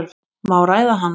Má ræða hana?